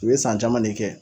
U ye san caman de kɛ